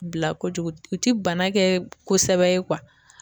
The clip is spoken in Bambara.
Bila kojugu u ti bana kɛ kosɛbɛ